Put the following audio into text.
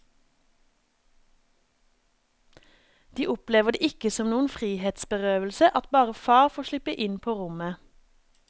De opplever det ikke som noen frihetsberøvelse at bare far får slippe inn på rommet.